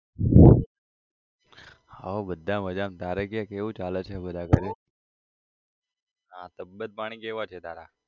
હોવ બધા મજામાં તારે કે કેવું ચાલે છે? બધા ઘરે હા તબીયત પાણી કેવા છે તારા?